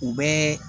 U bɛɛ